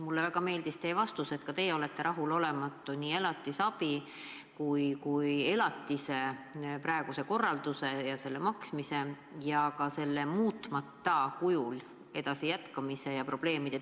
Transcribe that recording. Mulle väga meeldis teie vastus, et ka teie olete rahulolematu nii elatisabi kui ka elatise maksmise praeguse korraldusega ja ei pea õigeks selle korra muutmata kujul jätkumist, sest see tekitab probleeme.